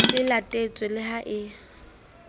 e latetswe le ha e